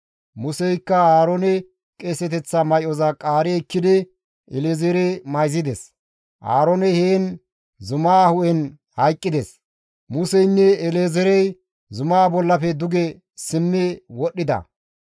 Museykka Aaroone qeeseteththa may7oza qaari ekkidi El7ezeere mayzides; Aarooney heen zumaa hu7en hayqqides; Museynne El7ezeerey zumaa bollafe duge simmi wodhdhida.